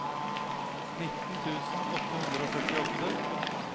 nitten tusen åtte hundre og førtiåtte